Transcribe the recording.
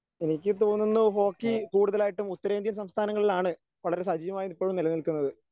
എനിക്ക് തോന്നുന്നു ഹോക്കി കൂടുതലായിട്ടും ഉത്തരേന്ത്യൻ സംസ്ഥാനങ്ങളിലാണ് വളരെ സജീവമായി ഇപ്പഴും നിലനിൽക്കുന്നത്.